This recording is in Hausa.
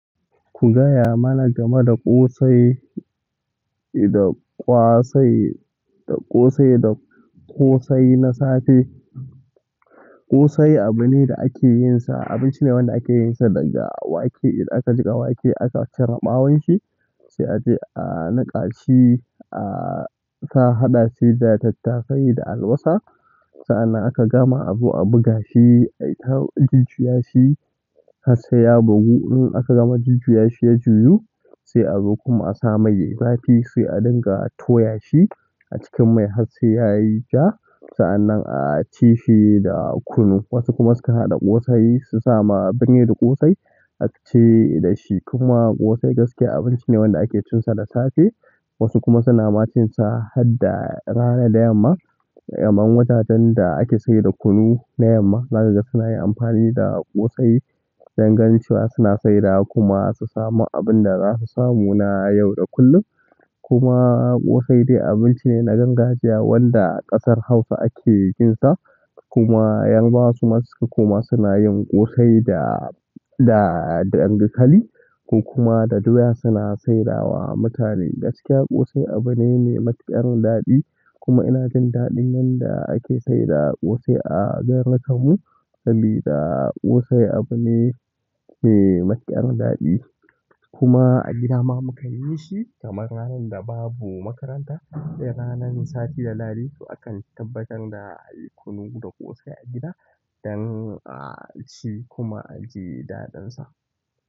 Ku ka gaya mana game da ƙosai da ƙwasai da ƙosai da ƙosai na safe ƙosai abu ne da ake yinsa, abinci ne wanda ake yinsa daga wake. Idan aka jiƙa wake aka cire ɓawon shi, sai a je a niƙa shi, a sa haɗa shi da tattasai da albasa. Sa'an nan aka gama a zo a buga shi, a yi ta jujjuya shi har sai ya bugu. In aka gama jujjuya shi ya juyu, sai a zo kuma a sa mai sai a dinga toya shi a cikin mai har sai ya yi ja. Sa'an nan a ci shi da kunu. Wasu kuma sukan haɗa ƙosai su sama abin da yake ƙosai a ci da shi. Kuma ƙosai gaskiya abinci ne wanda ake cin sa da safe. Wasu kuma suna ma cin hadda rana da yamma kuma wajajen da ake saida kunu na yamma zaka ga suna yin amfani da ƙosai don ganin cewa suna saida kuma su samu abin da za su samu na yau da kullum. Kuma ƙosai dai abinci ne na gargajiya wanda ƙasar Hausa ake yin sa. Kuma yarbawa su ma suka koma suna yin ƙosai da, da dankali ko kuma da doya suna saida wa mutane. Gaskiya ƙosai abu ne mai matuƙar daɗi. Kuma ina jin daɗin yanda ake saida ƙosai a garirin kanmu saboda ƙosai abu ne mai matuƙar daɗi. Kuma a gida ma mukanyi shi kamar ranar da babu makaranta. Idan ranan sati da lahadi to akan tabbatar da a yi kunu da ƙosai a gida don a ci kuma a ji daɗin sa.